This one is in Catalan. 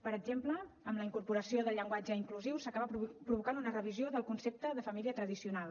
per exemple amb la incorporació del llenguatge inclusiu s’acaba provocant una revisió del concepte de família tradicional